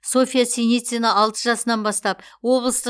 софия синицина алты жасынан бастап облыстық